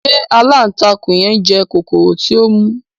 Se alántakùn yen njẹ kokoro ti o mu?